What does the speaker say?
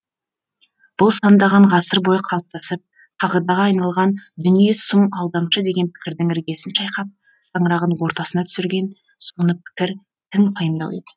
бұл сандаған ғасыр бойы қалыптасып қағидаға айналған дүние сұм алдамшы деген пікірдің іргесін шайқап шаңырағын ортасына түсірген соны пікір тың пайымдау еді